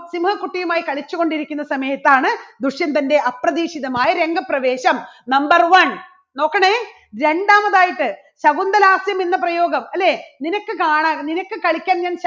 സിംഹ കുട്ടിയുമായി കളിച്ചു കൊണ്ടിരിക്കുന്ന സമയത്താണ് ദുഷ്യന്തൻറെ അപ്രതീക്ഷിതമായ രംഗപ്രവേശം. number one നോക്കണേ രണ്ടാമതായിട്ട് ശകുന്തളാസ്യം എന്ന പ്രയോഗം അല്ലേ? നിനക്ക് കാണാൻ നിനക്ക് കളിക്കാൻ ഞാൻ